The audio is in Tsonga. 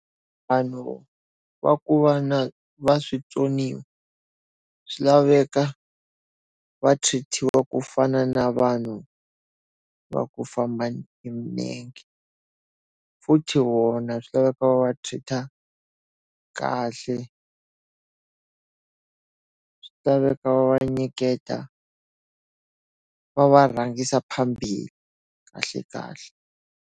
Vanhu va ku va na vaswitsoniwa swi laveka va treat-iwa ku fana na vanhu va ku famba hi milenge. Futhi vona swi laveka va va treat-a kahle. Swi laveka va va nyiketa, va va rhangisa phambili kahle kahle.